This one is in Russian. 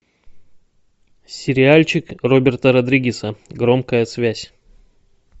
сериальчик роберта родригеса громкая связь